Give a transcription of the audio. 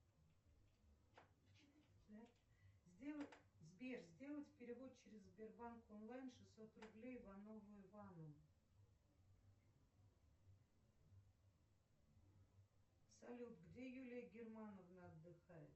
сбер сделать перевод через сбербанк онлайн шестьсот рублей иванову ивану салют где юлия германовна отдыхает